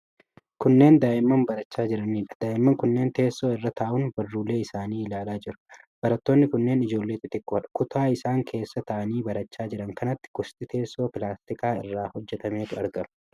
Kunneen daa'imman barachaa jiranidha. Daa'imman kunneen teessoo irra taa'uun barruulee isaanii ilaalaa jiru. Barattoonni kunneen ijoollee xixiqqoodha. Kutaa isaan keessa taa'anii barachaa jiran kanatti gosti teessoo pilaastika irraa hojjatametu argama.